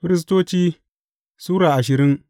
Firistoci Sura ashirin